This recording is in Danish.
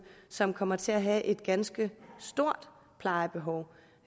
som kommer til at have et ganske stort plejebehov